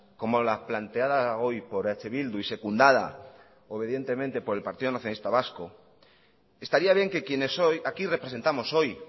como la planteada hoy por eh bildu y secundada obedientemente por el partido nacionalista vasco estaría bien que quienes hoy aquí representamos hoy